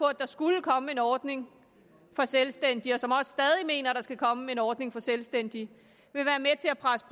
at der skulle komme en ordning for selvstændige og som også stadig mener der skal komme en ordning for selvstændige vil være med til at presse